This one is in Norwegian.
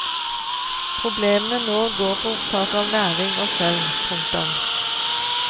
Problemene nå går på opptak av næring og søvn. punktum